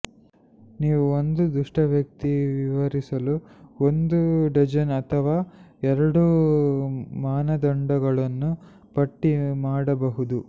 ನೀವು ಒಂದು ದುಷ್ಟ ವ್ಯಕ್ತಿ ವಿವರಿಸಲು ಒಂದು ಡಜನ್ ಅಥವಾ ಎರಡು ಮಾನದಂಡಗಳನ್ನು ಪಟ್ಟಿ ಮಾಡಬಹುದು